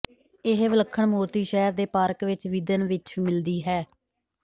ਇਹ ਵਿਲੱਖਣ ਮੂਰਤੀ ਸ਼ਹਿਰ ਦੇ ਪਾਰਕ ਵਿਚ ਵਿਦਿਨ ਵਿਚ ਮਿਲਦੀ ਹੈ